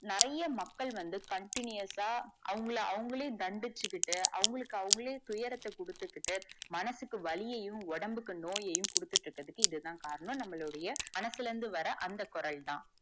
நிறைய மக்கள் வந்து continous ஆ அவங்கள அவங்களே தண்டிச்சுகிட்டு அவங்களுக்கு அவங்களே துயரத்த குடுத்துகிட்டு மனசுக்கு வலியையும் உடம்புக்கு நோயையும் குடுத்துகிட்டு இருக்கறதுக்கு இதுதான் காரணம் நம்மலுடைய மனசுள்ள இருந்து வர அந்த குரல்தான்